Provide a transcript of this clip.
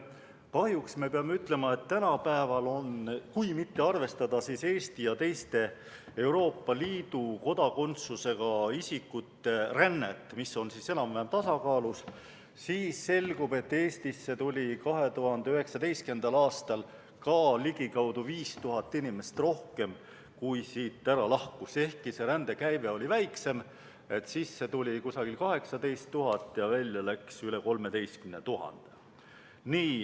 Kahjuks peame ütlema, et kui mitte arvestada Eesti ja teiste Euroopa Liidu kodakondsusega isikute rännet, mis on enam-vähem tasakaalus, siis tuli Eestisse 2019. aastal ka ligikaudu 5000 inimest rohkem, kui siit lahkus, ehkki see rändekäive oli väiksem: sisse tuli umbes 18 000 ja välja läks üle 13 000.